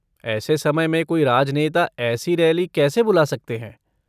ऐसे समय में कोई राजनेता ऐसी रैली कैसे बुला सकते हैं?